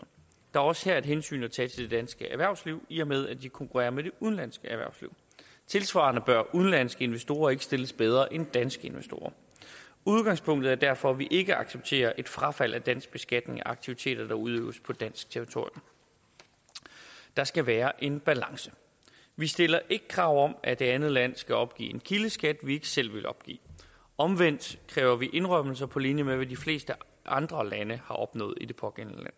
er også her et hensyn at tage til dansk erhvervsliv i og med at de konkurrerer med det udenlandske erhvervsliv tilsvarende bør udenlandske investorer ikke stilles bedre end danske investorer udgangspunktet er derfor at vi ikke accepterer et frafald af dansk beskatning af aktiviteter der udøves på dansk territorium der skal være en balance vi stiller ikke krav om at det andet land skal opgive kildeskat vi ikke selv ville opgive omvendt kræver vi indrømmelser på linje med hvad de fleste andre lande har opnået i det pågældende